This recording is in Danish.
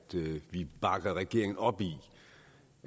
vi bakker regeringen op i